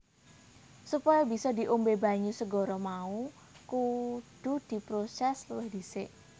Supaya bisa diombé banyu segara mau kudu diprosès luwih dhisik